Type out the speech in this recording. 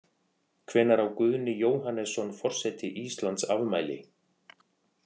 Hvenær á Guðni Jóhannesson, forseti Íslands, afmæli?